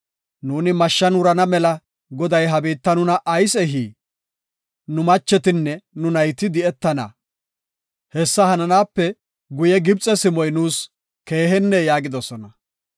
Nuuni mashshan wurana mela Goday ha biitta nuna ayis ehii? Nu machetinne nu nayti di7etana; hessa hananaape guye Gibxe simoy nuus keehennee?” yaagidosona.